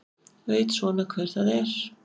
Veit svona hver það er.